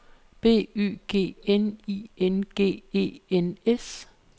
B Y G N I N G E N S